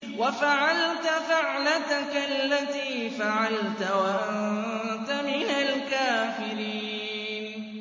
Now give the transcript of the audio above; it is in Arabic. وَفَعَلْتَ فَعْلَتَكَ الَّتِي فَعَلْتَ وَأَنتَ مِنَ الْكَافِرِينَ